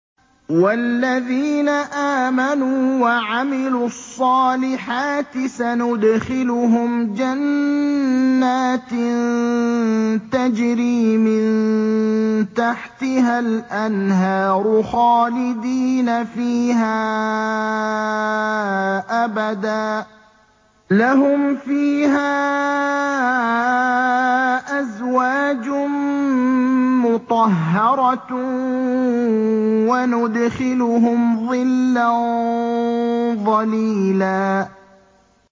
وَالَّذِينَ آمَنُوا وَعَمِلُوا الصَّالِحَاتِ سَنُدْخِلُهُمْ جَنَّاتٍ تَجْرِي مِن تَحْتِهَا الْأَنْهَارُ خَالِدِينَ فِيهَا أَبَدًا ۖ لَّهُمْ فِيهَا أَزْوَاجٌ مُّطَهَّرَةٌ ۖ وَنُدْخِلُهُمْ ظِلًّا ظَلِيلًا